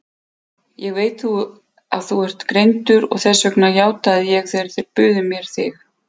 Ég veit að þú ert greindur, þess vegna játaði ég þegar þeir buðu mér þig.